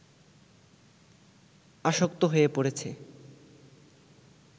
আসক্ত হয়ে পড়েছে